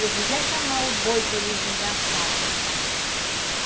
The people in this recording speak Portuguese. Eu vou já chamar o boi para ele vir dançar aqui em casa.